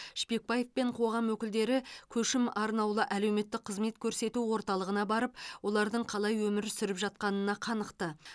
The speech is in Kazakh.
шпекбаев пен қоғам өкілдері көшім арнаулы әлеуметтік қызмет көрсету орталығына барып олардың қалай өмір сүріп жатқанына қанықты